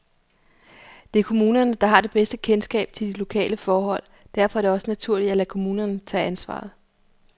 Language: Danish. Det er kommunerne, der har det bedste kendskab til de lokale forhold, derfor er det også naturligt at lade kommunerne tage ansvaret.